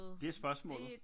Det er spørgsmålet